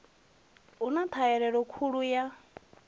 hu na ṱhahelelo khulu ya